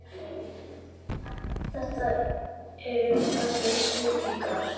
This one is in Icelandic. Þetta eru allt snillingar.